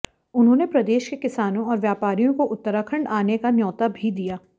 उन्होंने प्रदेश के किसानों और व्यापारियों को उत्तराखंड आने का न्यौता भी दिया